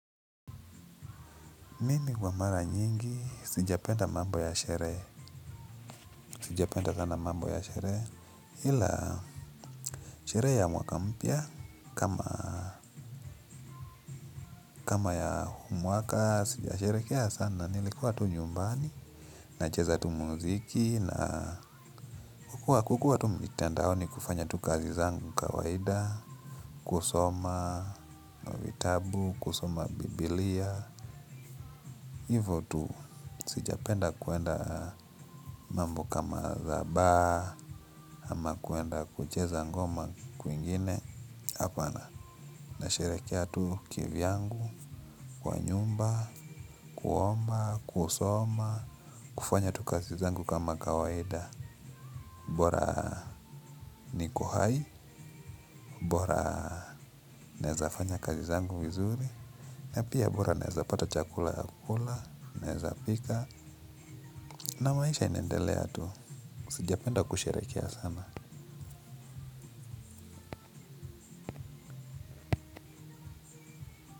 Mimi huwa mara nyingi, sijapenda mambo ya sherehe, sijapenda sana mambo ya sherehe ila sherehe ya mwaka mpya, kama ya huu mwaka, sijasherehekea sana nilikuwa tu nyumbani nacheza tu muziki na kukuwa tu mitandaoni kufanya tu kazi zangu kawaida kusoma kitabu, kusoma biblia hivo tu, sijapenda kwenda mambo kama za bar ama kwenda kucheza ngoma kwingine. Apana, na sherehekea tu kivyangu kwa nyumba, kuomba, kusoma kufanya tu kazi zangu kama kawaida bora niko hai, bora naeza fanya kazi zangu vizuri na pia bora naeza pata chakula ya kukula naeza pika na maisha inaendelea tu, sijapenda kushirehekea sana.